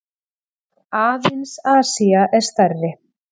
Aðeins Asía er stærri.